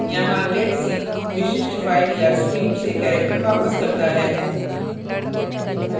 यहाँ getc विशिष्ट file या stream से character वापस करता है